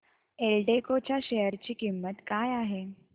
एल्डेको च्या शेअर ची किंमत काय आहे